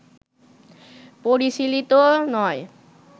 পরিশীলিত নয়